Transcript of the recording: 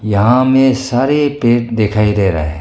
यहां हमें सारे पेड़ दिखाई दे रहा है।